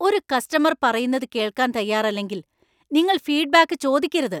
ഒരു കസ്റ്റമർ പറയുന്നത് കേൾക്കാൻ തയ്യാറല്ലെങ്കിൽ നിങ്ങൾ ഫീഡ്ബാക്ക് ചോദിക്കരുത്.